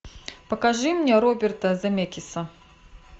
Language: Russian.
покажи мне роберта земекиса